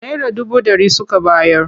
Naira dubu ɗari suka bayar.